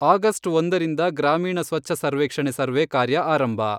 August ಒಂದರಿಂದ ಗ್ರಾಮೀಣ ಸ್ವಚ್ಛ ಸರ್ವೇಕ್ಷಣೆ ಸರ್ವೇ ಕಾರ್ಯ ಆರಂಭ.